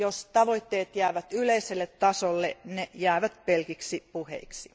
Jos tavoitteet jäävät yleiselle tasolle, ne jäävät pelkiksi puheiksi.